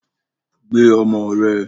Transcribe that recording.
Gbe ọmọ rẹ!